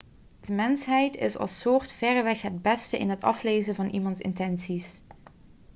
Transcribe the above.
de mensheid is als soort verreweg het beste in het aflezen van iemands intenties